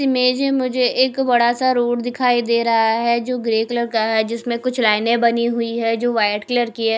Image है मुझे एक बड़ा सा रोड दिखाई दे रहा है जो ग्रे कलर का है जिसमें कुछ लाइनें बनी हुई हैं जो वाइट कलर की हैं।